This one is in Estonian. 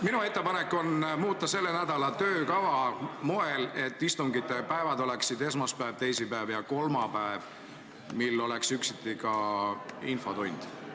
Minu ettepanek on muuta selle nädala töökava moel, et istungite päevad oleksid esmaspäev, teisipäev ja kolmapäev ning kolmapäeval oleks üksiti ka infotund.